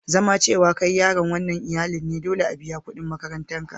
Zama cewa kai yaron wanan iyallin ne, dolle a biya kudin makarantan ka.